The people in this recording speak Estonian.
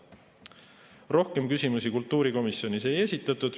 Rohkem küsimusi kultuurikomisjonis ei esitatud.